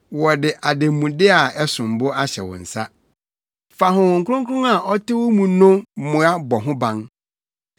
Wɔde ademude a ɛsom bo ahyɛ wo nsa. Fa Honhom Kronkron a ɔte wo mu no mmoa bɔ ho ban.